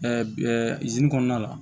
kɔnɔna la